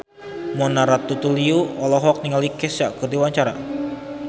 Mona Ratuliu olohok ningali Kesha keur diwawancara